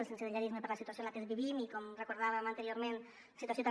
el sensellarisme per la situació en la que vivim i com recordàvem anteriorment situació també